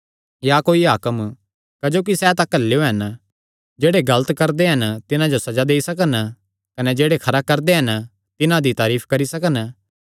या कोई हाकम क्जोकि सैह़ तां घल्लेयो हन जेह्ड़े गलत करदे हन तिन्हां जो सज़ा देई सकन कने जेह्ड़े खरा करदे हन तिन्हां दी तारीफ करी सकन